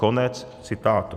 Konec citátu.